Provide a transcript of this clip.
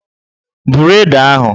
Buru Ede ahụ!